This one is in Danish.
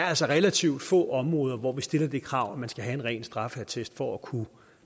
altså relativt få områder hvor vi stiller det krav at man skal have en ren straffeattest for at kunne